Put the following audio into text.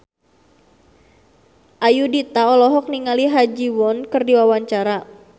Ayudhita olohok ningali Ha Ji Won keur diwawancara